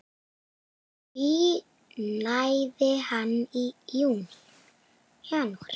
Því náði hann í janúar.